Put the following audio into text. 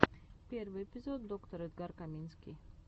первый эпизод доктор эдгар каминский